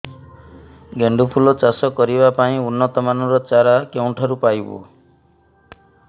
ଗେଣ୍ଡୁ ଫୁଲ ଚାଷ କରିବା ପାଇଁ ଉନ୍ନତ ମାନର ଚାରା କେଉଁଠାରୁ ପାଇବୁ